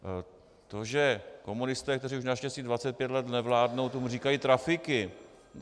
To, že komunisté, kteří už naštěstí 25 let nevládnou, tomu říkají trafiky...